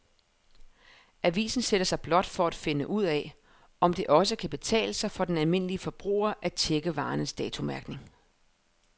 Avisen sætter sig blot for at finde ud af, om det også kan betale sig for den almindelige forbruger at checke varernes datomærkning.